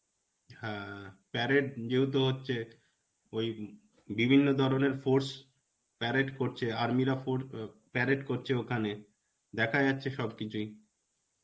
হ্যাঁ, parade যেহেতু হচ্ছে ওই বিভিন্ন ধরনের force parade করছে. আর্মিরা ফর~ আ~ parade করছে ওখানে. দেখা যাচ্ছে সবকিছুই.